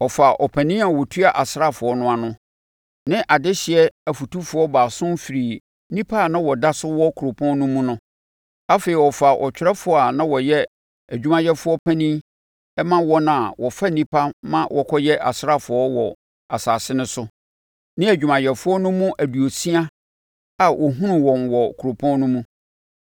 Ɔfaa ɔpanin a ɔtua asraafoɔ no ano, ne adehyeɛ afotufoɔ baason firii nnipa a na wɔda so wɔ kuropɔn no mu no. Afei ɔfaa ɔtwerɛfoɔ a na ɔyɛ adwumayɛfoɔ panin ma wɔn a wɔfa nnipa ma wɔkɔyɛ asraafoɔ wɔ asase no so, ne nʼadwumayɛfoɔ no mu aduosia a ɔhunuu wɔn wɔ kuropɔn no mu.